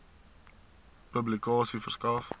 publikasie verskaf